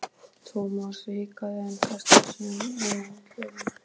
Thomas hikaði en kastaði síðan á hann kveðju.